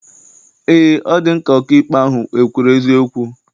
Eé, ọ dị m ka ọkaikpe ahụ ekwuru eziokwu.